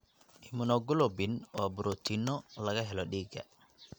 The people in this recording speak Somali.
Immunoglobulin waa borotiinno laga helo dhiigga.